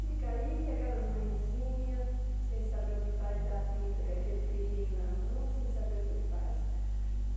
Fica aí, aquelas mãezinhas, sem saber o que faz da vida, com aquele filhinho na mão, sem saber o que faz.